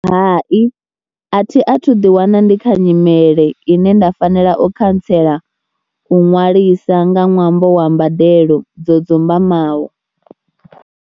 Hai a thi a thu ḓiwana ndi kha nyimele ine nda fanela o khantsela u ṅwalisa nga ṅwambo wa mbadelo dzo dzumbaho.